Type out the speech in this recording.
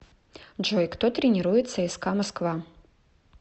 джой кто тренирует цска москва